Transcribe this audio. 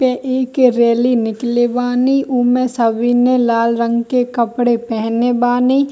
ये एक रैली निकले वानी उमे सभी ने लाल रंग के कपड़े पहने बानी।